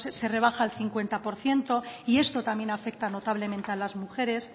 se rebaja al cincuenta por ciento y esto también afecta notablemente a las mujeres